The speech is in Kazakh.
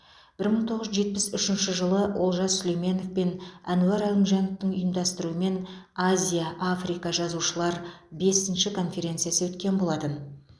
бір мың тоғыз жүз жетпіс үшінші жылы олжас сүлейменов пен ануар әлімжановтың ұйымдастыруымен азия африка жазушылар бесінші конференциясы өткен болатын